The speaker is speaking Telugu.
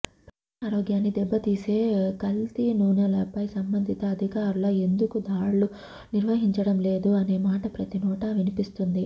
ప్రజా ఆరోగ్యాన్ని దెబ్బతీసే కల్తీనూనెలపై సంభందిత అధికారుల ఎందుకు దాడులు నిర్వహించడంలేదు అనే మాట ప్రతినోట వినిపిస్తుంది